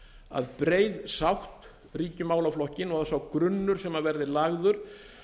að breið sátt ríki um málaflokkinn og að sá grunnur sem verði lagður